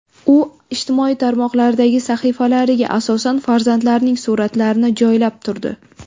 U ijtimoiy tarmoqlardagi sahifalariga asosan farzandlarining suratlarini joylab turdi.